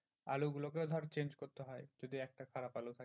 আলু গুলোকেও ধর change করতে হয় যদি একটা খারাপ আলু থাকে।